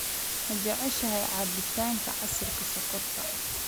Ma jeceshahay cabitaanka casiirka sonkorta